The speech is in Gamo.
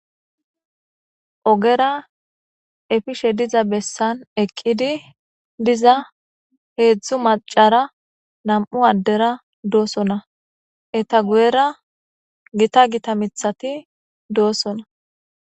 Ogera efishe diza besan eqid diza hezdzdu macara nam'u adera dosona, eta guyera Gita Gita mithati dosona .